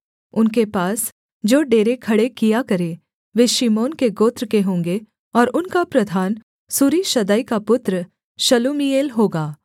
उनके पास जो डेरे खड़े किया करें वे शिमोन के गोत्र के होंगे और उनका प्रधान सूरीशद्दै का पुत्र शलूमीएल होगा